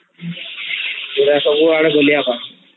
ପୁରା ସବୁଆଡେ ଗୁଲିଆ ପାଣି